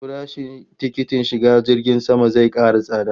Farashin tikitin shiga jirgin sama zai kara tsada